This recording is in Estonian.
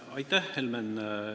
Aitäh, Helmen!